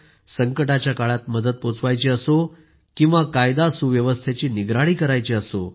संकटाच्या काळात मदत पोहोचवायची असो किंवा कायदा सुव्यवस्थेची निगराणी करायची असो